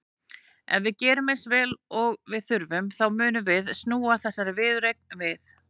Ef við gerum eins vel og við þurfum þá munum við snúa þessari viðureign við.